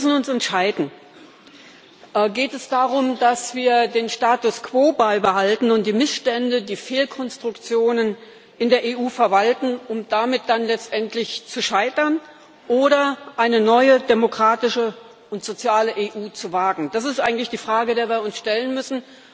Wir müssen uns entscheiden. Geht es darum, dass wir den Status quo beibehalten und die Missstände, die Fehlkonstruktionen in der EU verwalten, um damit dann letztendlich zu scheitern, oder dass wir eine neue demokratische und soziale EU wagen? Das ist eigentlich die Frage, die wir uns stellen müssen.